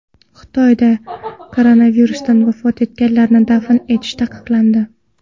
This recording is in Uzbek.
Xitoyda koronavirusdan vafot etganlarni dafn etish taqiqlandi.